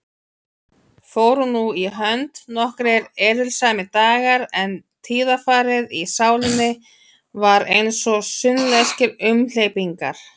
Fóru nú í hönd nokkrir erilsamir dagar, en tíðarfarið í sálinni var einsog sunnlenskir umhleypingar.